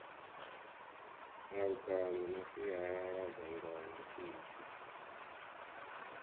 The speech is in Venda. malungana na sialala ngano idzi